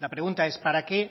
la pregunta es para qué